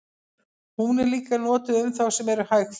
hún er líka notuð um þá sem eru hægfara